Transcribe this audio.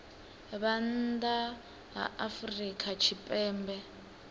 vha nnḓa ha afrika tshipembe